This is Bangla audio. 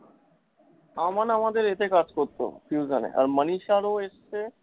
আমান আমাদের এতে কাজ করতো fusion এ আর মানিশার ও এসছে